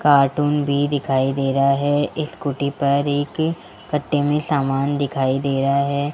Cartoon भी दिखाई दे रा है स्कूटी पर एक कट्टे में समान दिखाई दे रा है।